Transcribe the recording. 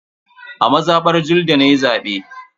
A mazabar Julde nayi zabe.